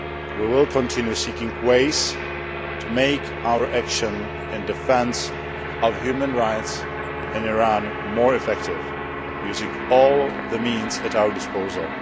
We will continue seeking ways to make our action in defence of human rights more effective, using all the means at our disposal.